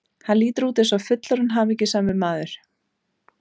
Hann lítur út eins og fullorðinn hamingjusamur maður.